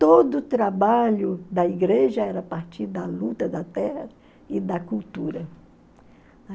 Todo o trabalho da igreja era a partir da luta da terra e da cultura.